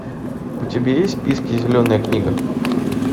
у тебя есть в списке зеленая книга